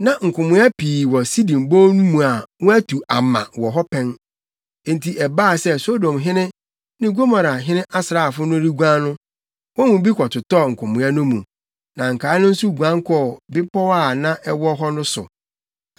Na nkomoa pii wɔ Sidim Bon no mu a wɔatu ama wɔ hɔ pɛn. Enti ɛbaa sɛ Sodomhene ne Gomorahene asraafo no reguan no, wɔn mu bi kɔtotɔɔ nkomoa no mu, na nkae no nso guan kɔɔ mmepɔw a na ɛwɔ hɔ no so.